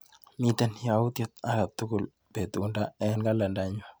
Miite yautyet akatukul betunda eng kalendainyu.